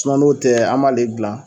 n'o tɛ an m'ale gilan.